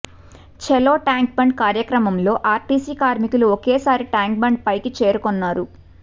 చలో tank bund కార్యక్రమంలో RTC కార్మికులు ఒకేసారి ట్యాంక్ బండ్ పైకి చేరుకొన్నారు